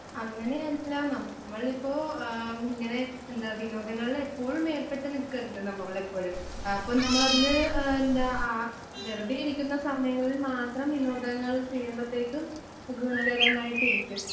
അങ്ങനെയല്ല നമ്മളിപ്പൊ ആ ഇങ്ങനെ എന്താ വിനോദങ്ങളിൽ എപ്പോഴും ഏർപ്പെട്ടു നിൽക്കരുത് നമ്മളെപ്പോഴും. ആ അപ്പം നമ്മളതില് ആ എന്താ ആ വെറുതെയിരിക്കുന്ന സമയങ്ങളിൽ മാത്രം വിനോദങ്ങൾ ചെയ്യുമ്പത്തേക്കും ഗുണകരമായിട്ടിരിക്കും.